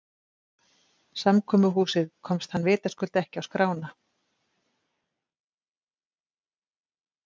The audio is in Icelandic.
Samkomuhúsið komst hann vitaskuld ekki á skrána.